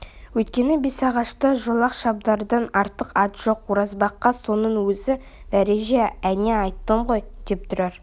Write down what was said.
өйткені бесағашта шолақ шабдардан артық ат жоқ оразбаққа соның өзі дәреже әне айттым ғой деп тұрар